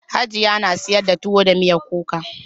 Hajiya na sayar da tuwo da miyar kuka.